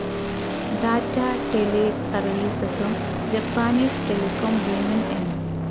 ടാറ്റാ ടെലിസർവീസസും Japanese telecom ഭീമൻ N.